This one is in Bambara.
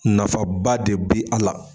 Nafaba de be a la.